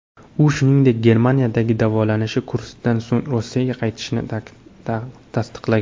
U, shuningdek, Germaniyadagi davolanish kursidan so‘ng Rossiyaga qaytishini tasdiqlagan.